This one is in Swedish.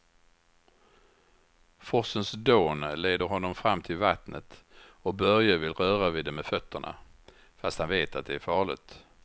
Forsens dån leder honom fram till vattnet och Börje vill röra vid det med fötterna, fast han vet att det är farligt.